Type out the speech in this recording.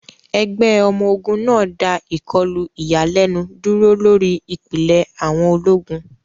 Ẹgbẹ́ ọmọ ogun náà dá ìkọlù ìyàlẹ́nu dúró lórí ìpìlẹ̀ àwọn ológun.